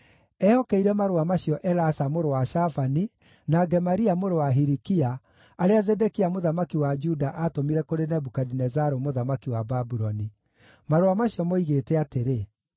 Ehokeire marũa macio Elasa mũrũ wa Shafani, na Gemaria mũrũ wa Hilikia, arĩa Zedekia mũthamaki wa Juda aatũmire kũrĩ Nebukadinezaru mũthamaki wa Babuloni. Marũa macio moigĩte atĩrĩ: